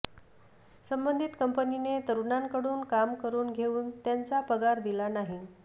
संबंधित कंपनीने तरुणांकडून काम करून घेऊन त्यांचा पगार दिला नाही